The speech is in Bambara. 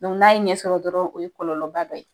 Dɔnku n'a ye ɲɛ sɔrɔ dɔrɔn o ye kolɔlɔba dɔ ye